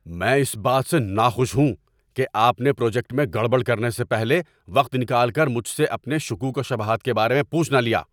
میں اس بات سے ناخوش ہوں کہ آپ نے پروجیکٹ میں گڑبڑ کرنے سے پہلے وقت نکال کر مجھ سے اپنے شکوک و شبہات کے بارے میں پوچھ نہ لیا۔